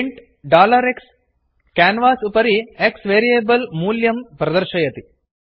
print x canvas उपरि x variable मूल्यं प्रदर्शयति